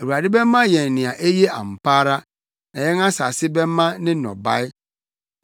Awurade bɛma yɛn nea eye ampa ara na yɛn asase bɛma ne nnɔbae.